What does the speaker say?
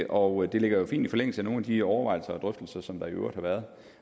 og det ligger jo fint i forlængelse af nogle af de overvejelser og drøftelser som der i øvrigt har været